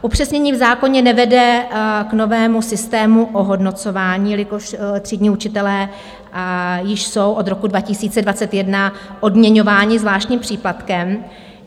Upřesnění v zákoně nevede k novému systému ohodnocování, jelikož třídní učitelé již jsou od roku 2021 odměňování zvláštním příplatkem.